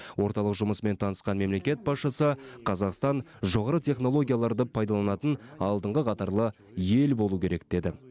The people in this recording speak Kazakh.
орталық жұмысымен танысқан мемлекет басшысы қазақстан жоғары технологияларды пайдаланатын алдыңғы қатарлы ел болу керек деді